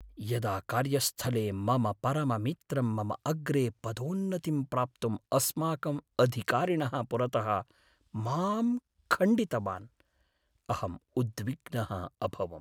यदा कार्यस्थले मम परममित्रं मम अग्रे पदोन्नतिं प्राप्तुम् अस्माकम् अधिकारिणः पुरतः मां खण्डितवान् अहम् उद्विग्नः अभवम्।